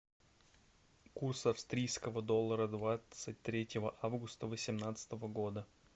курс австрийского доллара двадцать третьего августа восемнадцатого года